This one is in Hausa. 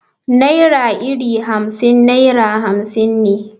Naira iri Hamsin naira hamsin ne.